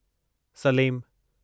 Salem